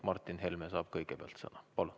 Martin Helme saab kõigepealt sõna.